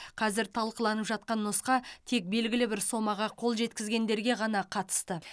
қазір талқыланып жатқан нұсқа тек белгілі бір сомаға қол жеткізгендерге ғана қатысты